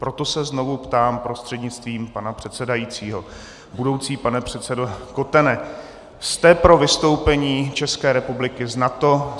Proto se znovu ptám prostřednictvím pana předsedajícího: Budoucí pane předsedo Kotene, jste pro vystoupení České republiky z NATO?